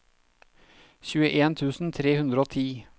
tjueen tusen tre hundre og ti